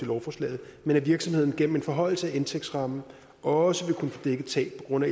lovforslaget men at virksomheden gennem en forhøjelse af indtægtsrammen også vil kunne få dækket tab på grund af